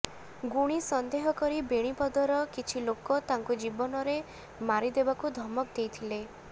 ଗୁଣି ସନ୍ଦେହ କରି ବେଣିପଦରର କିଛି ଲୋକ ତାଙ୍କୁ ଜୀବନରେ ମାରିଦେବାକୁ ଧମକ ଦେଇଥିଲେ